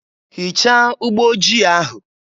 Hichaa ụgbọ ojii ahụ!